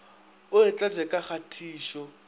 o e tlatše ka kgatišo